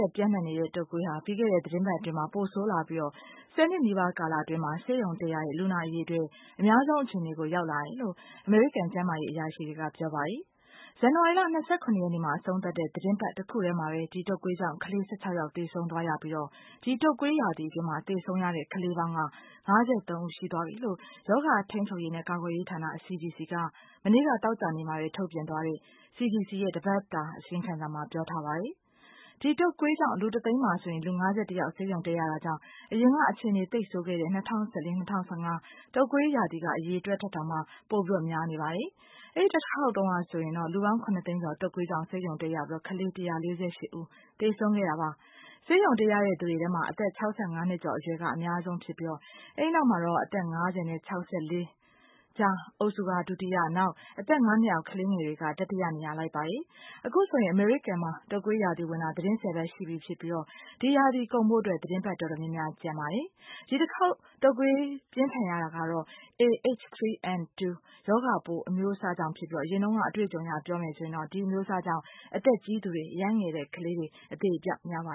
က်ပျံ့နှံ့နေတဲ့ တုပ်ကွးဟာ ပြီးခဲ့တဲ့ သတင်းပတ်အတွင်းမှာ ပိုဆိုးလာပြီး ၁၀ နှစ်နီးပါးကာလအတွင်းမှာ ဆေးရုံတက်ရတဲ့ လူနာအရည်အတွက် အများဆုံးအခြေအနေကို ရောက်လာတယ်လို့ အမေရိကန်ကျန်းမာရေးအရာရှိတွေက ပြောပါတယ်။ ဇန်နဝါရီလ ၂၇ ရက်နေ့ အဆုံးသတ်တဲ့ သတင်းပတ်တခုတည်းမှာပဲ ဒီတုပ်ကွေးကြောင့် ကလေး ၁၆ ယောက် သေဆုံးသွားရပြီး ဒီတုပ်ကွေးရာသီအတွင်းမှာ သေဆုံးရတဲ့ ကလေးပေါင်း ၅၃ ဦး ရှိသွားပြီလို့ ရောဂါထိန်းချုပ်ရေးနဲ့ ကာကွယ်ရေးဌာန CDC က မနေ့က သောကြာနေ့မှာပဲ ထုတ်ပြန်သွားတဲ့ CDC ရဲ့ တပတ်တာအစီရင်ခံစာမှာ ပြောထားပါတယ်။ ဒီတုပ်ကွေးကြောင့် လူတသိန်းမှာဆိုရင် လူ ၅၁ ယောက် ဆေးရုံတက်ရတာကြောင့် အရင်က အခြေအနေသိပ်ဆိုးခဲ့တဲ့ ၂၀၁၄-၂၀၁၅ တုတ်ကွေးရာသီက အရည်အတွက်ထက်တောင် ပိုများနေတာပါ။ အဲဒီတခါက်တုန်းက ဆိုရင် လူပေါင်း ၇ သိန်းကျော် တုတ်ကွေးကြောင့် ဆေးရုံတက်ရပြီး ကလေး ၁၄၈ ဦး သေဆုံးခဲ့ရတာပါ။ ဆေးရုံတက်ရသူတွေထဲမှာ အသက် ၆၅ နှစ်ကျော်အရွယ်တွေက အများဆုံးဖြစ်ပြီး အဲ့နောက်မှာတော့ အသက် ၅၀ နဲ့ ၆၄ နှစ်ကြားအုပ်စုက ဒုတိယ နောက် အသက် ၅ နှစ်အောက် ကလေးငယ်တွေက တတိယနေရာက လိုက်ပါတယ်။ အခုဆိုရင် အမေရိကန်မှာ တုတ်ကွေးရာသီဝင်တာ သတင်း ၁၀ ပတ်ရှိပြီ ဖြစ်ပြီး ဒီရာသီကုန်ဖို့ သတင်းပတ်တော်တော်များများ ကျန်ပါသေးတယ်။ ဒီတခေါက်တုပ်ကွေးပြင်းထန်ရတာက တော့ A H3N2 ရောဂါပိုးအမျိုးအစားကြောင့် ဖြစ်ပြီး အရင်တုန်းက အတွေ့အကြုံအရ ပြောရမယ်ဆိုရင် ဒီအမျိုးအစားကြောင့် အသက်ကြီးသူတွေ အရမ်းငယ်သေးတဲ့ကလေးတွေ အသေအပျောက်များပါ